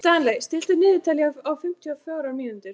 Stanley, stilltu niðurteljara á fimmtíu og fjórar mínútur.